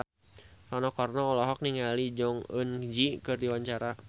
Rano Karno olohok ningali Jong Eun Ji keur diwawancara